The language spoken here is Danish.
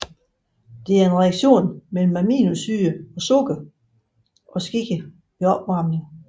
Det er en reaktion mellem aminosyrer og sukker og sker ved opvarmning